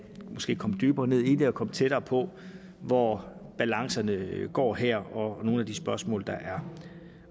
komme dybere ned i det og komme tættere på hvor balancerne går her og at nogle af de spørgsmål der er